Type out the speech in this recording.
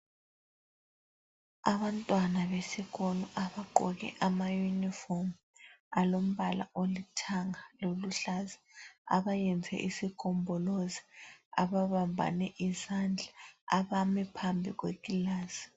Abantwana besikolo abagqoke amayunifomu alombala olithanga loluhlaza, abayenze isigombolozi, ababambane izandla, abame phambi kwekilasi.